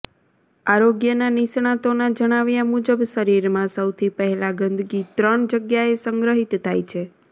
આરોગ્યના નિષ્ણાતોના જણાવ્યા મુજબ શરીરમાં સૌથી પહેલા ગંદગી ત્રણ જગ્યાએ સંગ્રહિત થાય છે